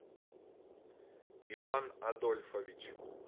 иван адольфович